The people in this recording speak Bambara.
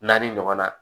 Naani ɲɔgɔnna